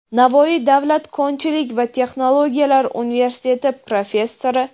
Navoiy davlat konchilik va texnologiyalar universiteti professori;.